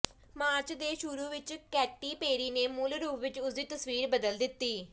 March ਦੇ ਸ਼ੁਰੂ ਵਿੱਚ ਕੈਟੀ ਪੇਰੀ ਨੇ ਮੂਲ ਰੂਪ ਵਿੱਚ ਉਸਦੀ ਤਸਵੀਰ ਬਦਲ ਦਿੱਤੀ